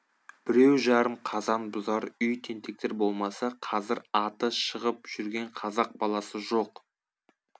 біреу жарым қазан бұзар үй тентектер болмаса қазір аты шығып жүрген қазақ баласы жоқ